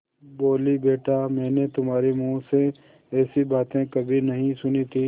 बोलीबेटा मैंने तुम्हारे मुँह से ऐसी बातें कभी नहीं सुनी थीं